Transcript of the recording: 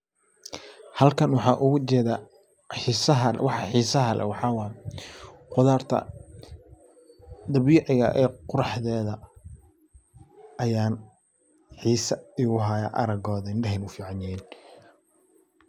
Halkan waxaan oga jeeda waxaa xiisaha xiisa leh waxaa waye qudarta dabiiciga ee quraxdeeda ayan xiisa u haya aragooda indhaheyna u fiicanyihin.